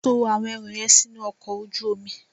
To àwọn ẹrù yẹn sínú ọkọ̀ ojú omi.